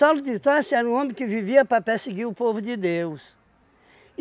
de Tarso era um homem que vivia para perseguir o povo de Deus.